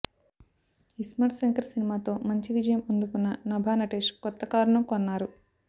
ఇస్మార్ట్ శంకర్ సినిమాతో మంచి విజయం అందుకున్న నభా నటేష్ కొత్త కారును కొన్నారు